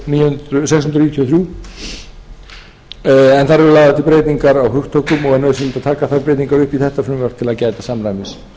sex hundruð níutíu og þrjú en þar eru lagðar til breytingar á hugtökum og er nauðsynlegt að taka þær breytingar upp í þetta frumvarp til að gæta samræmis